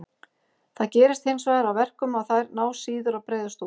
Það gerir hinsvegar að verkum að þær ná síður að breiðast út.